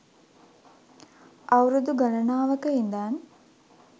අවුරුදු ගණනාවක ඉඳන්